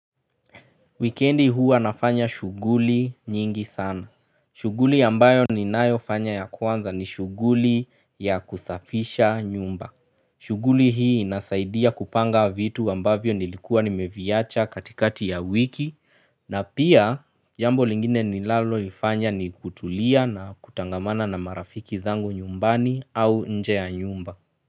Weekendi hua nafanya shuguli nyingi sana. Shuguli ambayo ninayo fanya ya kwanza ni shuguli ya kusafisha nyumba. Shuguli hii inasaidia kupanga vitu ambavyo nilikua nimeviacha katikati ya wiki na pia jambo lingine ni nalalo lifanya ni kutulia na kutangamana na marafiki zangu nyumbani au nje ya nyumba.